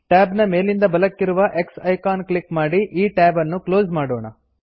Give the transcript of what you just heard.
tab ನ ಮೇಲಿಂದ ಬಲಕ್ಕಿರುವ X ಐಕಾನ್ ಕ್ಲಿಕ್ ಮಾಡಿ ಈ tab ಅನ್ನು ಕ್ಲೋಸ್ ಮಾಡೋಣ